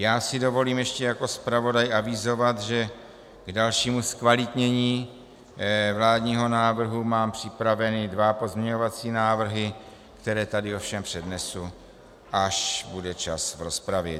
Já si dovolím ještě jako zpravodaj avizovat, že k dalšímu zkvalitnění vládního návrhu mám připravené dva pozměňovací návrhy, které tady ovšem přednesu, až bude čas v rozpravě.